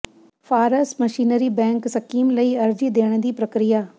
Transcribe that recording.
farm machinery bank scheme ਲਈ ਅਰਜ਼ੀ ਦੇਣ ਦੀ ਪ੍ਰਕਿਰਿਆ